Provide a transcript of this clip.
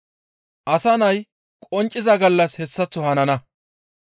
«Asa Nay qoncciza gallas hessaththo hanana.